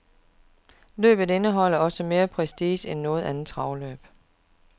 Løbet indeholder også mere prestige end noget andet travopgør.